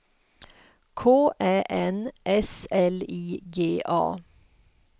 K Ä N S L I G A